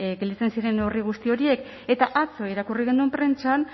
gelditzen ziren neurri guzti horiek eta atzo irakurri genuen prentsan